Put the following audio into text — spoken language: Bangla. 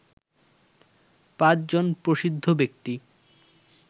৫ জন প্রসিদ্ধ ব্যক্তি